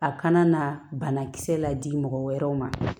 A kana na banakisɛ la di mɔgɔ wɛrɛw ma